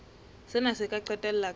sena se ka qetella ka